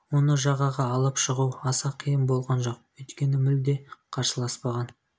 оны жағаға алып шығу аса қиын болған жоқ өйткені мүлде қарсыласпаған